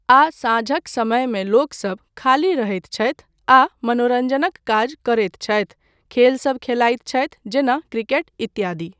आ साँझक समयमे लोकसब खाली रहैत छथि आ मनोरञ्जनक काज करैत छथि, खेलसब खेलाइत छथि जेना क्रिकेट इत्यादि।